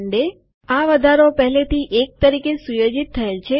આ વધારો એટલે કે ઇન્ક્રીમેન્ટ પહેલેથી 1 તરીકે સુયોજિત થયેલ છે